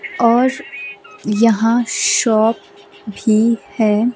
और यहां शॉप भी है।